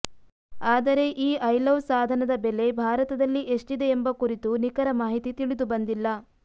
ಆದರೆ ಈ ಐಲವ್ ಸಾಧನದ ಬೆಲೆ ಭಾರತದಲ್ಲಿ ಎಷ್ಟಿದೆ ಎಂಬ ಕುರಿತು ನಿಖರ ಮಾಹಿತಿ ತಿಳಿದುಬಂದಿಲ್ಲ